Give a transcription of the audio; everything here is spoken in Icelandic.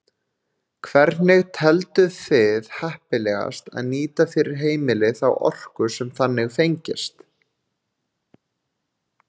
Hvernig telduð þið heppilegast að nýta fyrir heimili þá orku sem þannig fengist?